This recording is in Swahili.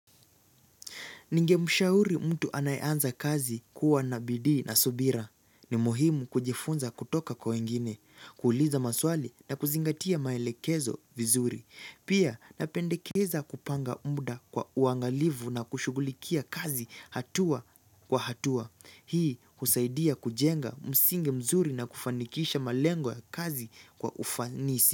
Ningemshauri mtu anayeanza kazi kuwa nabidii na subira. Ni muhimu kujifunza kutoka kwa wengine, kuuliza maswali na kuzingatia maelekezo vizuri. Pia napendekeza kupanga muda kwa uangalivu na kushugulikia kazi hatua kwa hatua. Hii husaidia kujenga msingi mzuri na kufanikisha malengo ya kazi kwa ufanisi.